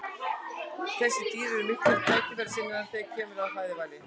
þessi dýr eru miklir tækifærissinnar þegar kemur að fæðuvali